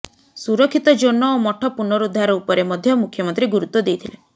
ସୁରକ୍ଷିତ ଜୋନ ଓ ମଠ ପୁନରୁଦ୍ଧାର ଉପରେ ମଧ୍ୟ ମୁଖ୍ୟମନ୍ତ୍ରୀ ଗୁରୁତ୍ବ ଦେଇଥିଲେ